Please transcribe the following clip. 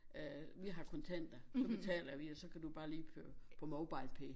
Øh vi har kontanter så betaler vi og så kan du bare lige køre på Mobilepay